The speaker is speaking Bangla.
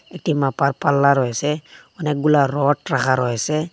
একটি মাপার পাল্লা রয়েসে অনেকগুলা রড রাখা রয়েসে।